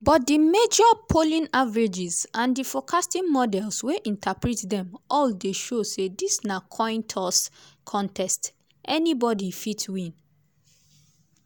but di major polling averages and di forecasting models wey interpret dem all dey show say dis na coin-toss contest-- anybodi fit win.